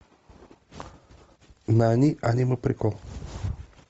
нани аниме прикол